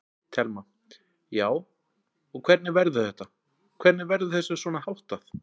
Telma: Já, og hvernig verður þetta, hvernig verður þessu svona háttað?